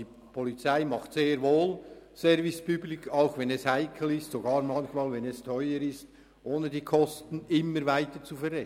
Die Polizei macht sehr wohl Service public, auch wenn es heikel ist, sogar wenn es manchmal teuer ist, ohne die Kosten immer weiter zu verrechnen.